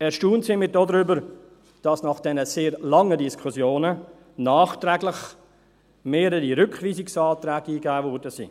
Erstaunt sind wir darüber, dass nach diesen sehr langen Diskussionen nachträglich mehrere Rückweisungsanträge eingegeben wurden.